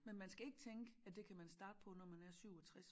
Men man skal ikke tænke at det kan man starte på når man bliver 67